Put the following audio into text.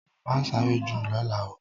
Ma sáré jù lọ́la oo!